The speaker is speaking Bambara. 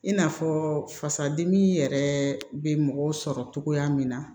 I n'a fɔ fasadimi yɛrɛ bɛ mɔgɔw sɔrɔ cogoya min na